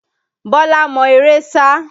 Bọlá mọ eré sá